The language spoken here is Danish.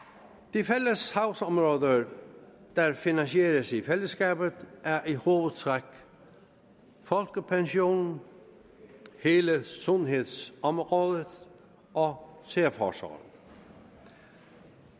de fælles sagsområder der finansieres i fællesskab er i hovedtræk folkepensionen hele sundhedsområdet og særforsorgen